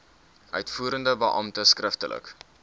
uitvoerende beampte skriftelik